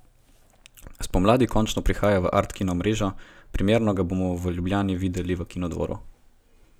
Spomladi končno prihaja v art kino mrežo, premierno ga bomo v Ljubljani videli v Kinodvoru.